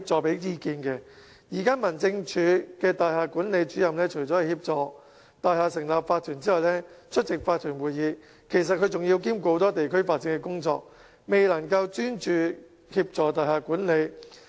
現時民政事務總署的大廈聯絡主任除協助大廈成立法團及出席法團會議外，更要兼顧很多其他地區發展工作，未能專注協助大廈管理。